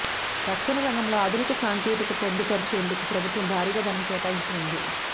రక్షణ రంగంలో ఆధునిక సాంకేతికత పొందుపరిచేందుకు ప్రభుత్వం భారీగా ధనం కేటాయించనుంది